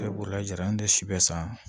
Bolila jara an ye si bɛɛ san